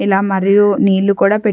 ఇలా మరియు నీళ్లు కూడా పెట్--